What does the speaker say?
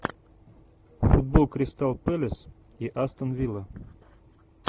футбол кристал пэлас и астон вилла